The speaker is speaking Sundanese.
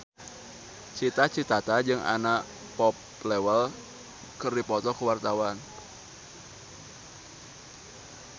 Cita Citata jeung Anna Popplewell keur dipoto ku wartawan